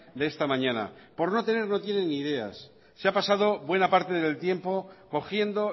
de esta mañana por no tener no tiene ni ideas se ha pasado buena parte del tiempo cogiendo